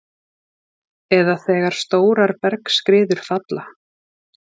eða þegar stórar bergskriður falla.